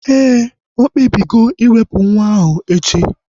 Éè, okpebigo iwepu nwa ahu echi